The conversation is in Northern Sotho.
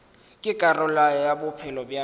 ke karolo ya bophelo bja